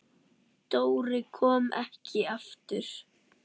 Dóri kom ekki aftur.